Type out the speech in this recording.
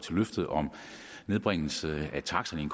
løftet om nedbringelse af taksterne i